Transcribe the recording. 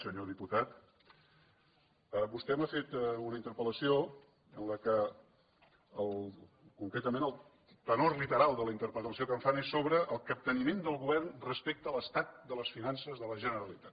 senyor diputat vostè m’ha fet una interpel·lació en què concretament el tenor literal de la interpel·lació que em fan és sobre el capteniment del govern respecte a l’estat de les finances de la generalitat